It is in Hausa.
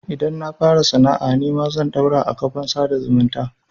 Idan na fara sana'a nima zan ɗaura a kafan sada zumunta.